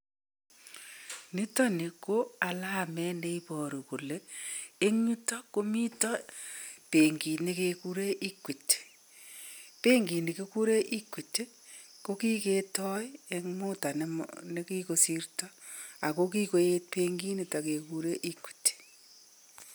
nitani ko alamet nee ibaruu kolee en youtak komitaa benkit ne keguree equity , benkini keguree equity ko kekitai eng mudaa ne kigosirta ago kigoeet benkinitak kegure equity